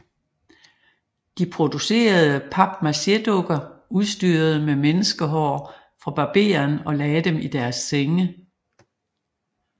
De producerede papmachédukker udstyrede med menneskehår fra barberen og lagde dem i deres senge